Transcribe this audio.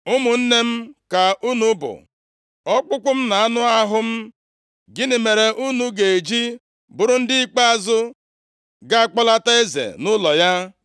Ụmụnne m ka unu bụ, ọkpụkpụ m na anụ ahụ m. Gịnị mere unu ga-eji bụrụ ndị ikpeazụ ga-akpọlata eze nʼụlọ ya?’